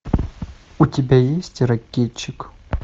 у тебя есть ракетчик